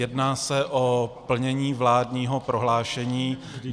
Jedná se o plnění vládního prohlášení.